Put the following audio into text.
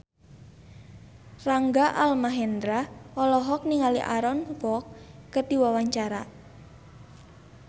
Rangga Almahendra olohok ningali Aaron Kwok keur diwawancara